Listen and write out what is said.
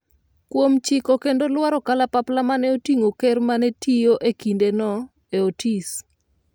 kuom chiko kendo lwaro kalapapla mane oting'o ker mane tiyo e kindeno ,e Otis